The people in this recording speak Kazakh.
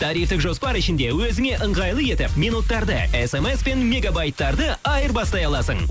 тарифтік жоспар ішінде өзіңе ыңғайлы етіп минуттарды смспен мегабайттарды айырбастай аласың